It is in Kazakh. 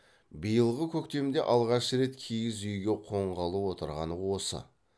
биылғы көктемде алғаш рет киіз үйге қонғалы отырғаны осы